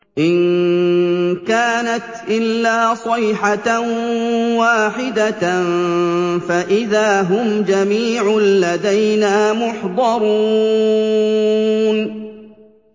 إِن كَانَتْ إِلَّا صَيْحَةً وَاحِدَةً فَإِذَا هُمْ جَمِيعٌ لَّدَيْنَا مُحْضَرُونَ